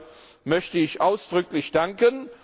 Dafür möchte ich ausdrücklich danken.